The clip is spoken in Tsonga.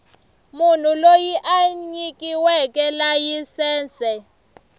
munhu loyi a nyikiweke layisense